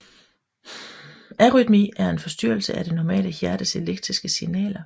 Arytmi er en forstyrrelse af det normale hjertes elektriske signaler